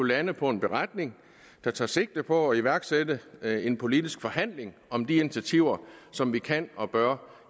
lande på en beretning der tager sigte på at iværksætte en politisk forhandling om de initiativer som vi kan og bør